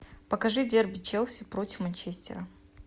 покажи дерби челси против манчестера